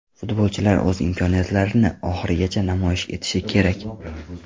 Futbolchilar o‘z imkoniyatlarini oxirigacha namoyish etishi kerak.